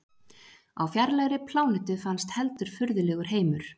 Á fjarlægri plánetu fannst heldur furðulegur heimur.